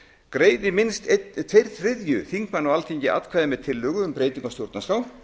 greiði minnst tveir þriðju þingmanna á alþingi atkvæði með tillögu um breytingu á stjórnarskrá